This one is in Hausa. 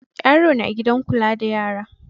Yaro na gidan kula da yara.